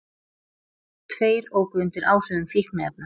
Tveir óku undir áhrifum fíkniefna